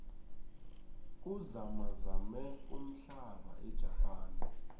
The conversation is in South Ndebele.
kuzamazame umhlaba ejapane